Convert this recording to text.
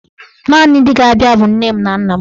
Naanị ndị ga-abịa bụ nne m na nna m.